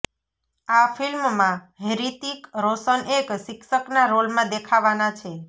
આ ફિલ્મમાં હ્રિતિક રોશન એક શિક્ષકના રોલમાં દેખાવાના છે